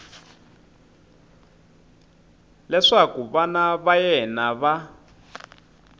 leswaku vana va yena va